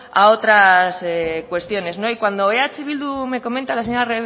a otras cuestiones y cuando eh bildu me comenta la señora